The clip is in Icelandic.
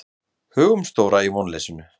Hugumstóra í vonleysinu.